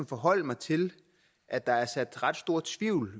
forholde mig til at der er sået ret stor tvivl